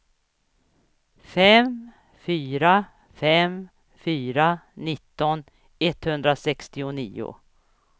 fem fyra fem fyra nitton etthundrasextionio